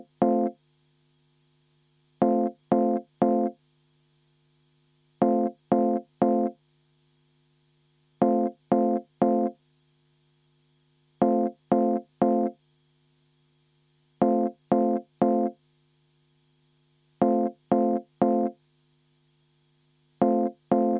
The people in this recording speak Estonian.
Asume seda hääletust ette valmistama.